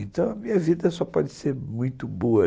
Então a minha vida só pode ser muito boa.